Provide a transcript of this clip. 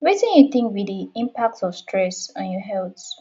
wetin you think be di impact of stress on your health